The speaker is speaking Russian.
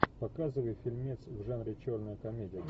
показывай фильмец в жанре черная комедия